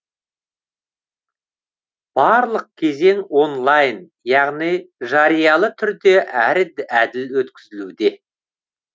барлық кезең онлайн яғни жариялы түрде әрі әділ өткізілуде